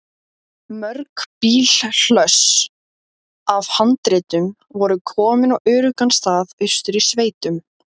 Karen Kjartansdóttir: En hvað gerið þið svona til þess að þarna auðvelda ykkur biðina?